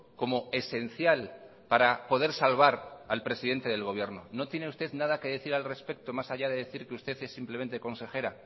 como esencial para poder salvar al presidente del gobierno no tiene usted nada que decir al respecto más allá de decir que usted es simplemente consejera